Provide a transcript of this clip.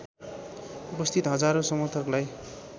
उपस्थित हजारौं समर्थकलाई